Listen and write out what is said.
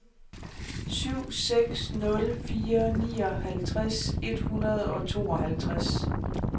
syv seks nul fire nioghalvtreds et hundrede og tooghalvtreds